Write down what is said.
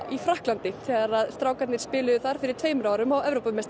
í Frakklandi þegar strákarnir spiluðu þar fyrir tveimur árum